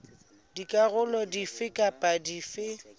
dikarolo dife kapa dife tse